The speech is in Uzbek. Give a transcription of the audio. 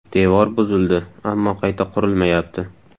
Devor buzildi, ammo qayta qurilmayapti.